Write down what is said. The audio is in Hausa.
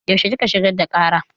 Yaushe kika shigar da ƙara?